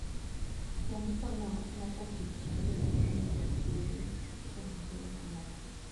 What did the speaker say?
Jandiko no nothoo tich ariyo gotieno tok tuore kuom thuolo malach.